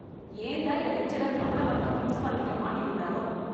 ஏன் தான் இந்த லெக்சரர் நம்மள மட்டும் பிரின்சிபால் கிட்ட மாட்டி விடுறாரோ?